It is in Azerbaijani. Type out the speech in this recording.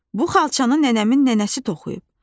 Bu xalçanı nənəmin nənəsi toxuyub.